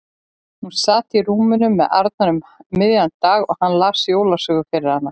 Hún sat á rúminu með Arnari um miðjan daginn og hann las jólasögu fyrir hana.